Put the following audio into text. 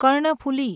Karnaphuli